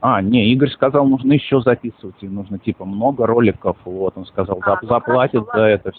а не игорь сказал можно ещё записывать их нужно типа много роликов вот он сказал заплатит за это все